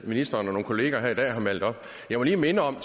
ministeren og nogle kollegaer her i dag har malet op jeg må lige minde om